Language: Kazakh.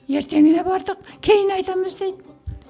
ертеңіне бардық кейін айтамыз дейді